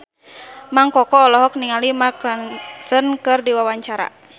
Mang Koko olohok ningali Mark Ronson keur diwawancara